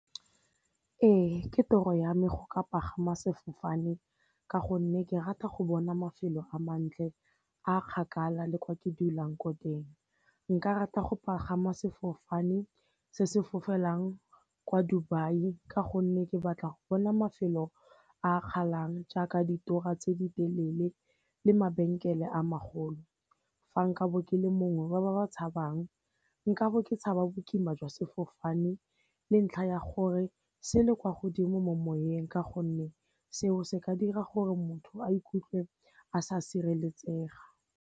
Ee ke tiro ya me go ka pagama sefofane ka gonne ke rata go bona mafelo a mantle a kgakala le kwa ke dulang ko teng. Nka rata go pagama sefofane se se fofelang kwa Dubai ka gonne ke batla go bona mafelo a kgalang jaaka ditora tse di telele le mabenkele a magolo, fa nkabo ke le mongwe wa ba ba tshabang nkabo ke tshaba bokima jwa sefofane le ntlha ya gore se le kwa godimo mo semoyeng ka gonne seo se ka dira gore motho a ikutlwe a sa sireletsega.